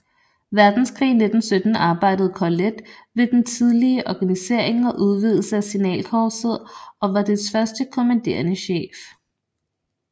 Verdenskrig i 1917 arbejdede Corlett med den tidlige organisering og udvidelse af signalkorpset og var dets første kommanderende chef